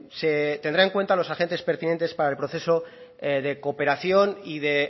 se tendrá en cuenta a los agentes pertinentes para el proceso de cooperación y de